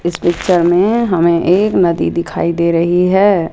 इस पिक्चर में हमें एक नदी दिखाई दे रही है।